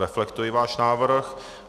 Reflektuji váš návrh.